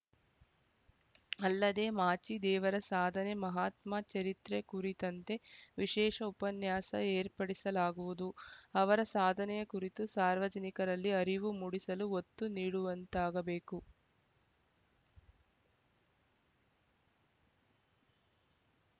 ಅಲ್ಲದೆ ಮಾಚಿದೇವರ ಸಾಧನೆ ಮಹಾತ್ಮ ಚರಿತ್ರೆ ಕುರಿತಂತೆ ವಿಶೇಷ ಉಪನ್ಯಾಸ ಏರ್ಪಡಿಸಲಾಗುವುದು ಅವರ ಸಾಧನೆಯ ಕುರಿತು ಸಾರ್ವಜನಿಕರಲ್ಲಿ ಅರಿವು ಮೂಡಿಸಲು ಒತ್ತು ನೀಡುವಂತಾಗಬೇಕು